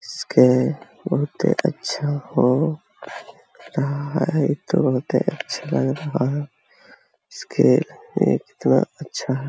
इसके बहोत ही अच्छा हो रहा है। तो बहोत ही अच्छा लग रहा है। इसके लिए कितना अच्छा है।